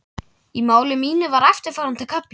Í máli mínu var eftirfarandi kafli